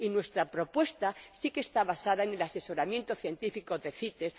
Y nuestra propuesta sí que está basada en el asesoramiento científico de CITES.